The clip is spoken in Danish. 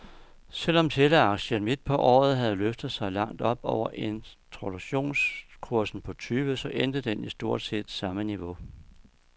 Selv om teleaktien midt på året havde løftet sig langt op over introduktionskursen på tyve , så endte den i stort set samme niveau.